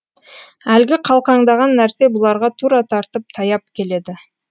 әлгі қалқаңдаған нәрсе бұларға тура тартып таяп келеді